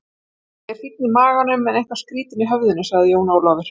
Ég er fínn í maganum, en eitthvað skrýtinn í höfðinu, sagði Jón Ólafur.